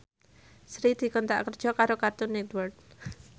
Sri dikontrak kerja karo Cartoon Network